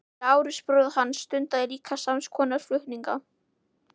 Lárus bróðir hans stundaði líka sams konar flutninga.